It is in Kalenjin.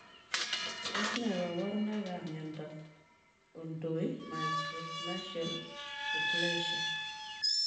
Tos nee kabarunoik ap miondoop Odontoimicronychial diplesia?